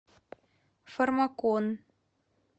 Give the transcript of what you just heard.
фармакон